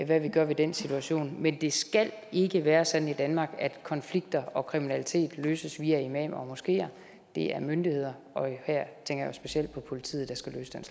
hvad vi gør ved den situation men det skal ikke være sådan i danmark at konflikter og kriminalitet løses via imamer og i moskeer det er myndighederne og her tænker jeg specielt på politiet der skal løse den